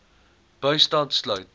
bystand sluit